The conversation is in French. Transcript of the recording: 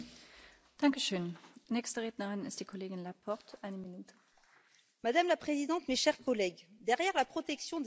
Madame la Présidente, mes chers collègues, derrière la protection des intérêts financiers de l'Union européenne se profile un autre sujet, celui du consentement à l'impôt européen.